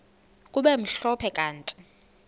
kube mhlophe kanti